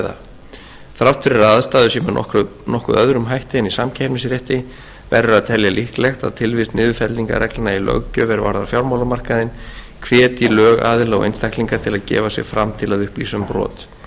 ræða þrátt fyrir að aðstæður séu með nokkuð öðrum hætti en í samkeppnisrétti verður að telja líklegt að tilvist niðurfellingarreglna í löggjöf er varðar fjármálamarkaðinn hvetji lögaðila og einstaklinga til að gefa sig fram til að upplýsa um brot